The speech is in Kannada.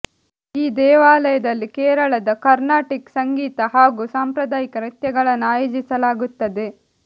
ಈ ದೇವಾಲಯದಲ್ಲಿ ಕೇರಳದ ಕರ್ನಾಟಿಕ್ ಸಂಗೀತ ಹಾಗೂ ಸಾಂಪ್ರದಾಯಿಕ ನೃತ್ಯಗಳನ್ನು ಆಯೋಜಿಸಲಾಗುತ್ತದೆ